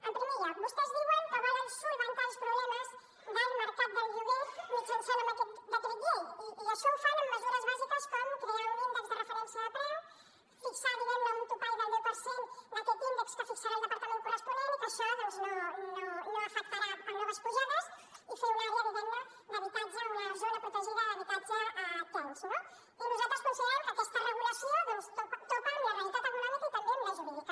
en primer lloc vostès diuen que volen solucionar els problemes del mercat del lloguer mitjançant aquest decret llei i això ho fan amb mesures bàsiques com crear un índex de referència de preu fixar diguem ne un topall del deu per cent d’aquest índex que fixarà el departament corresponent i que això doncs no afectarà noves pujades i fer una àrea d’habitatge una zona protegida d’habitatge tens no i nosaltres considerem que aquesta regulació doncs topa amb la realitat econòmica i també amb la jurídica